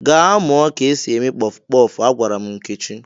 "Gaa mụọ ka e si eme kpọfụ kpọfụ! " Agwara m Nkechi.